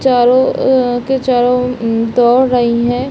चारों अ के चारों दौड़ रही हैं।